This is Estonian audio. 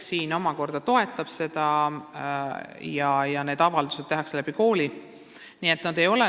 Riik toetab seda ja majutusavaldused esitatakse kooli kaudu.